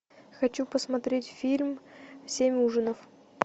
хочу посмотреть фильм семь ужинов